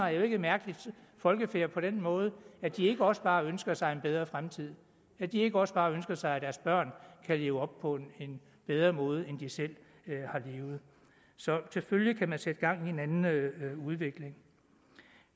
er jo ikke et mærkeligt folkefærd på den måde at de ikke også bare ønsker sig en bedre fremtid at de ikke også bare ønsker sig at deres børn kan leve på en bedre måde end de selv har levet så selvfølgelig kan man sætte gang i en anden udvikling